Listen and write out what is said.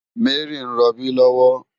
Mary n ròbí lòwò